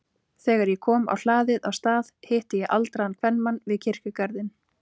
Þegar ég kom á hlaðið á Stað hitti ég aldraðan kvenmann við kirkjugarðinn.